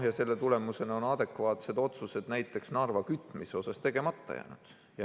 Selle tulemusena on adekvaatsed otsused näiteks Narva kütmise kohta tegemata jäänud.